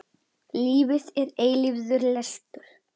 Lífið er eilífur lestur.